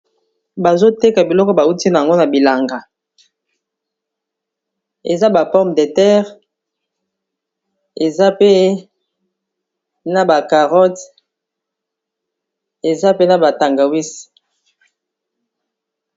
Bazoteka biloko bauti nango na bilanga eza ba pomme de terre eza pe na ba carotte eza pe na batangawize.